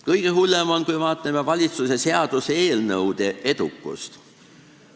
Kõige hullem on lugu valitsuse seaduseelnõude edukusega.